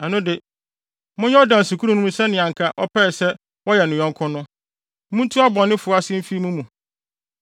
ɛno de, monyɛ ɔdansekurumni no sɛnea anka ɔpɛe sɛ wɔyɛ ne yɔnko no. Muntu abɔnefo ase mfi mo mu.